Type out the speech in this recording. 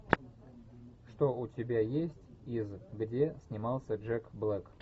что у тебя есть из где снимался джек блэк